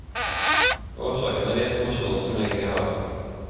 Årsaken er informasjonen som ligger i havet.